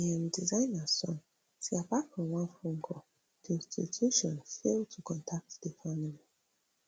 but di um designer son say apart from one phone call di institution fail to contact di family